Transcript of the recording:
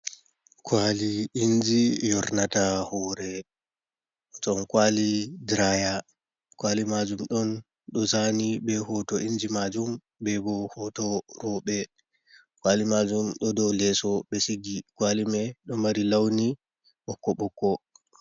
Kwali inji yornata huure ton kwali diraya. Kwali majum ɗon ɗo zani be hoto inji majum. Bebo hoto roɓe kwali majum ɗo dou leeso. Ɓe sigi kwali mai ɗo mari launi ɓokko ɓokko.